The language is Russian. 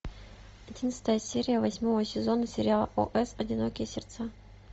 одиннадцатая серия восьмого сезона сериала о с одинокие сердца